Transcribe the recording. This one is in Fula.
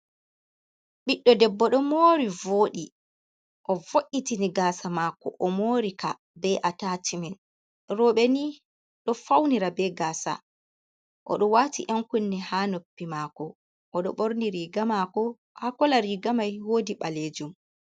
Ɓiɗdo debbo ɗo mori vodi, o vo’’itini gasa maako omori ka be atashmen, roɓe ni ɗo faunira be gasa oɗo wati yan kunne ha noppi mako, odo ɓorni riga mako ha kola riga mai wodi ɓalejum.